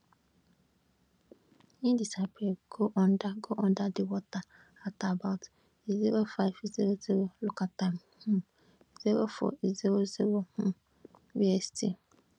e disappear go under go under di water at about izero five zero zero local time um zero four izero zero um bst